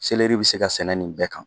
Seleri bɛ se ka sɛnɛ nin bɛɛ kan.